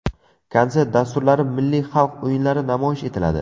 Konsert dasturlari, milliy xalq o‘yinlari namoyish etiladi.